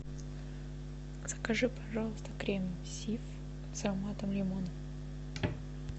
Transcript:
закажи пожалуйста крем сиф с ароматом лимона